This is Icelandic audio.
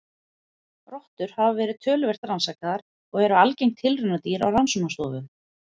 Rottur hafa verið töluvert rannsakaðar og eru algeng tilraunadýr á rannsóknastofum.